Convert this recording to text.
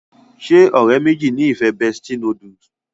ṣe ọ̀rẹ́ méjèèjì ní ìfẹ bestie noodle?